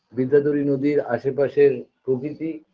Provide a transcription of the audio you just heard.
বিদ্যাধরী নদীর আশেপাশের প্রকৃতি